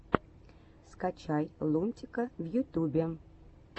скачай лунтика в ютюбе